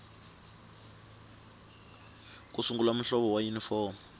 ku sungula muhlovo wa yunifomo